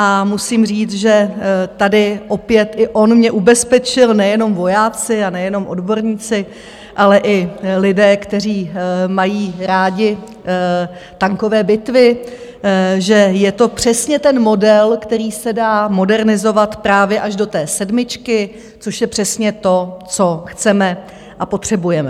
A musím říct, že tady opět i on mě ubezpečil, nejenom vojáci a nejenom odborníci, ale i lidé, kteří mají rádi tankové bitvy, že je to přesně ten model, který se dá modernizovat právě až do té sedmičky, což je přesně to, co chceme a potřebujeme.